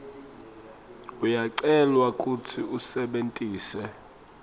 uyacelwa kutsi usebentise